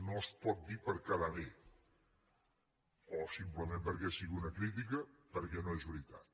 no es pot dir per quedar bé o simplement perquè sigui una crítica perquè no és veritat